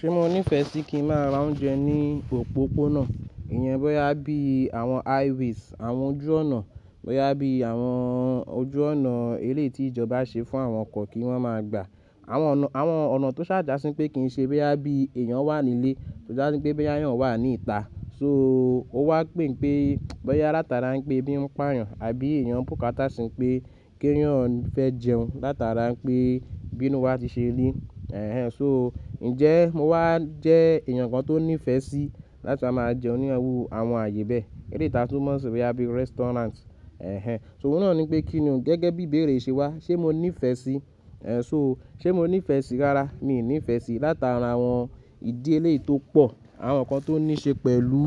Ṣé mo nífẹ̀ẹ́ sí kí ń má ra oúnjẹ ní òpópónà? Ìyẹn bóyá bí àwọn high ways, àwọn ojú ọ̀nà, bóyá bí àwọn ojú ọ̀nà eléèti ìjọba ṣe fún àwọn ọkọ̀ kí wọ́n máa gbà. Àwọn ọ̀nà tó ṣàjásí pé kìí ṣe, bóyá bí èèyàn wà nílé, tó ja sí pé bóyá eyàn wà ní ìta. So ó wá pè npé bóyá látara npé ebí ń payàn àbí èèyàn bùkátà sí npé k'eyàn fẹ́ jẹun látara npé binú wa ti ṣe ri. Ẹ̀hẹn. So ǹjẹ́ mo wà jẹ́ èèyàn kan tó nífẹ̀ẹ́ sí láti wa máa jẹun ní àwù àwọn ààyè bẹ́ẹ̀. Èleyi ta tún mọ̀ sí bóyá bí restaurant. Ẹ̀hẹn. So òun náà ni pé kí ni o gẹ́gẹ́ bí ìbéèrè yi ṣe wà? Ṣé mo nífẹ̀ẹ́ sí? Ẹ̀, so ṣé mo nífẹ̀ẹ́ sí rárá, mi nífeẹ́ sí látara àwọn ìdí eléyi to pọ̀, àwọn nǹkan tó níí ṣe pẹ̀lú,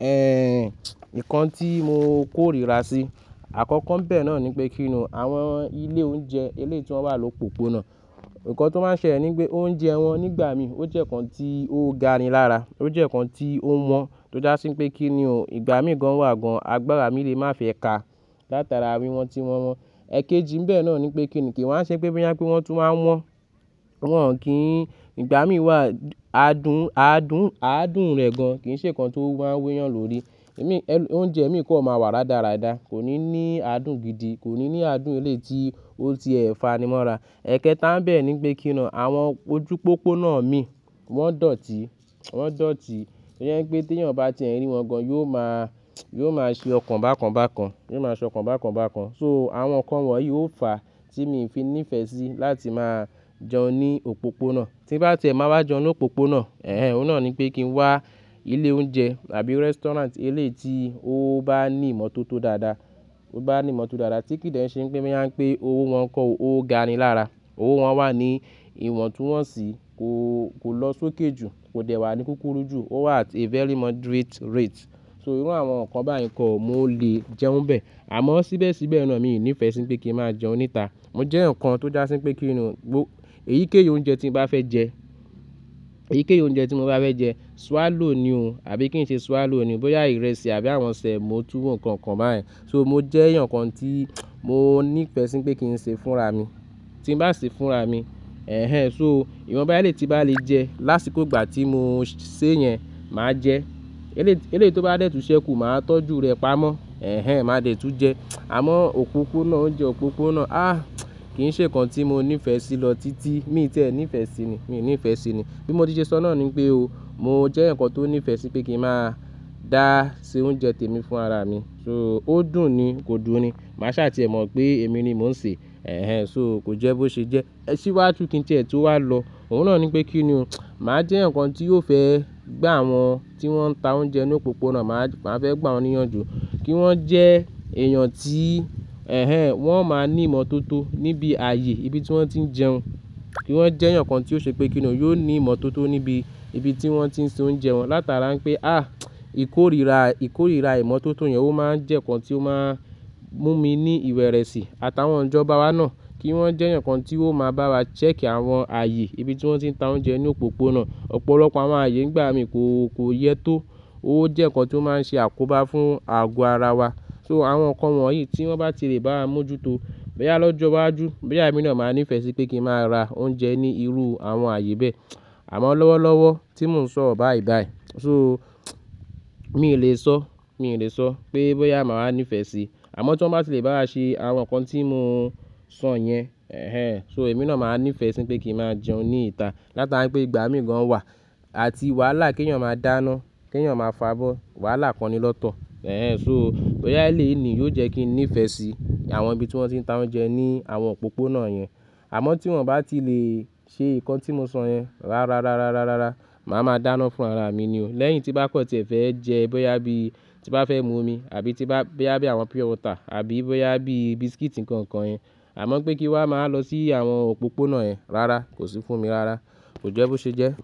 ẹ́ nǹkan tí mo kóríra sí. Àkọ́kọ́ ńbẹ náà ni pé kí ni o àwọn ilé oúnjẹ eléyi ti wọ́n wà lópoòpónà. Nnkan to máa ń ṣele ní wipé oúnjẹ wọn nígbà mí ó jẹ́ nǹkan tí ó ga ni lára. Ó jẹ́ nǹkan tí ó wọ́n tó dá sí pé kí ni ò, ìgbà mí gan wà gan agbára mi lè má fẹ́ ká látara wíwọ̀n tí wọn wọn. Ẹ̀kéjì ńbẹ́ náà ni pé kí ni kií wa n ṣe pé bóyá pé wọ́n tún wá wọ́n. Wọ́n-on kìí ìgbà mí wà adùn, adùn, aadùn rẹ̀ gan kìí ṣe nǹkan tó máa ń wẹ́yàn lórí. Ẹ̀mí, e oúnjẹ mi kan máa wà rárarada. Kò ní ní aadùn gidi. Kò ní ní aadùn eléyi ti ó ti ẹ̀ fanimora. Ẹ̀kẹta ńbẹ́ ní pé kí ni o àwọn ojúpópónà mii wọ́n dọ̀tí, wọ́n dọ̀tí. Ìyẹn pé tí èèyàn bá ti ẹ̀ rí wọn gan yóò máa, yóò máa ṣe ọ̀kan bákan bákan. Yóò máa sọ ọ̀kan bákan bákan. So àwọn nǹkan wọ̀nyí ó fàa tí mii fi nífẹ̀ẹ́ sí láti máa jẹun ní òpópónà. Tí nbá ti ẹ̀ máa wá jẹun ní òpópónà, ẹ̀hẹn, òun náà ni pé kí n wá ilé oúnjẹ àbí restaurant eléyi ti ó bá ní ìmọ́tótó dáadáa. Ó bá ní ìmọ́ tó dára tí kì í dẹ́ n ṣe npé bóyá npé owo wọn kọ́ o, ó ga ni lára. Ówo wọn wà ní ìwọ̀ntúnwọ̀nsì. Kò, kò lọ sókè jù. Kò dẹ̀ wà ní kúkúrú jù. Ó wà at a very moderate rate. So irú àwọn nǹkan báyìí kọ̀ mo lè jẹun bẹ̀. Àmọ́ síbẹ̀síbẹ̀ náà mi ò nífeẹ́ sí pé kí ń má jẹun níta. Mo jẹ́yan kan tó dá sí pé kí ni o gbo, èyíkéyìí oúnjẹ tí nbá fẹ́ jẹ, èyíkéyìí oúnjẹ tí mo bá fẹ́ jẹ swallow ni ò. Àbí kí n ṣe swallow ni ò bóyá ìrẹsì àbí àwọn sẹ̀mo tuwo nǹkan kan báyen. So mo jẹ́yan kan tí mo nífẹ́e sí npé kí n ṣee fúnraa mi. Tí ń bá ṣee fúnraa mi, ẹ̀hẹn. So ìwọ̀nbá eléyi tinbá lè jẹ́ lásìkò ìgbà tí mo ṣe yẹn màá jẹ́. Eléyi ti, eléyi tó bá dẹ̀ tun ṣẹ́kù màá tọ́jú rẹ̀ pamọ́. Ẹ̀hẹn. Ma dẹ̀ tu jẹ. Àmọ́ òpópónà oúnjẹ òpópónà, àh, kìí ṣe nǹkan tí mo ní ìfẹ́ sí lọ títí. Mii tiẹ̀ nífeẹ́ sí i ní. Mi ò nífeẹ́ sí i ní. Bí mo ti ṣe sọ náà ni npé o, mo jẹ́yan kan tó nífeẹ́ sí pé kí ń má dá se oúnjẹ tèmi fún araa mi. So ó dùn ni, kò dùn ni. Màá ṣà ti ẹ̀ mọ̀ pé èmi ni mò ń ṣe. Ẹ̀hẹn. So kò jẹ́ bó ṣe jẹ́. Ẹ̀ sìwájú kí n ti ẹ̀ tó wà lọ, òun náà ni pé kí ni o, màá jẹ́yan kan tí yóò fẹ́ gba àwọn tí wọ́n ń ta oúnjẹ ní òpópónà, màá fẹ́ gba wọ́n níyànjú. Kí wọ́n jẹ́ èèyàn tí, ẹ̀hẹn, wọ́n máa ní ìmọ́tótó níbi ààyè ibi tí wọ́n ti ń jẹun. Kí wọ́n jẹ́yan kan tí ó ṣe pé kí ni o yóò ní ìmọ́tótó níbi ibi tí wọ́n ti ń ṣe oúnjẹ wọn látara npé àh, ìkórìíra, ìkórìíra ìmọ́tótó yẹn ó máa ń jẹ́ nǹkan tí ó máa ń mú mi ní ìwẹ̀rẹ̀sì. Àtàwọn ijọ́bá wá náà kí wọ́n jẹ́yan kan tí ó máa bá wa check i àwọn ààyè ibi tí wọ́n ti ń ta oúnjẹ ní òpópónà. Ọ̀pọ̀lọpọ̀ àwọn ààyè ngbà míi kò, kò yẹ tó. Ó jẹ́ nǹkan tí ó máa ń ṣe àkóbá fún àgọ́ ara wa. So àwọn nǹkan wọ̀nyí tí wọ́n bá ti lè bá wa mójútó bóyá lọ́jọ́ iwájú, bóyá èmi náà máa ní ìfẹ́ sí pé kí ń má ra oúnjẹ ní irú àwọn ààyè bẹ́ẹ̀. Àmọ́ lọ́wọ́lọ́wọ́ tí mò ń sọro báyìí báyìí. So mi ò lè sọ, mi ò lè sọ pé bóyá màá wa nífeẹ́ sí. Àmọ́ tí wọ́n bá ti lè bá wa ṣe àwọn nǹkan tí mo sọ yẹn, ẹ̀hẹn. So èmi náà máa ní ìfẹ́ sí pé kí ń má jẹun ní ìta látara npé ìgbà míi gan-an wà àti wàhálà keyàn máa dáná, keyàn máa fo abó. Wàhálà kan ni lọ́tọ̀. Ẹ̀hẹn. So bóyá eléyii ni yóò jẹ́ kí n nífẹ̀ẹ́ sí àwọn ibi tí wọ́n ti ń ta oúnjẹ ní àwọn òpópónà yẹn. Àmọ́ tí wọ́n-on bá ti lè ṣe nǹkan tí mo sọ yẹn rárá, rárára, rárá, màá ma dáná fún araa mi ni o. Lẹ́yìn tí nbá kan tí ẹ fẹ́ jẹ́ bóyá bí tí bá fẹ́ mu omi àbí tí bá, bóyá bí àwọn pure water àbí bóyá bí biskiti nkankan yẹn. Àmọ́ pé kí wa ma wa lọ sí àwọn òpópónà yẹn rárá kò sì fún mi rárá. Kò jẹ́ bó ṣe jẹ́.